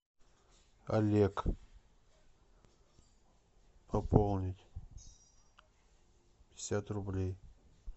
олег пополнить пятьдесят рублей